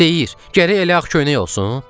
Deyir, gərək elə ağ köynək olsun?